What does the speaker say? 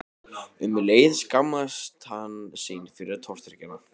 Um leið skammaðist hann sín fyrir tortryggnina.